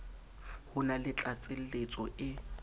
ho na le tlatseletso e